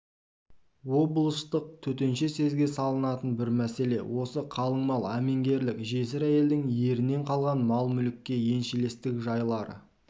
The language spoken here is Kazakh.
облыстық төтенше съезге салынатын бір мәселе осы қалың мал әменгерлік жесір әйелдің ерінен қалған мал-мүлікке еншілестік жайлары